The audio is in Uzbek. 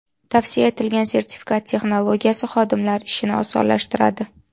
Tavsiya etilgan sertifikat texnologiyasi, xodimlar ishini osonlashtiradi.